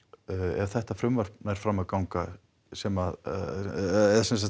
ef þetta frumvarp nær fram að ganga sem